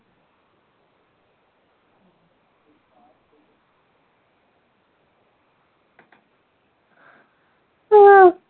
ആ